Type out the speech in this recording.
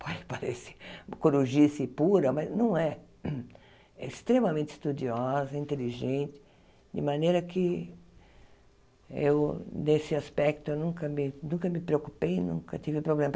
pode parecer corujice pura, mas não é. É extremamente estudiosa, inteligente, de maneira que eu, nesse aspecto, nunca me nunca me preocupei, nunca tive problema.